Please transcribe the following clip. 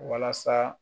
Walasa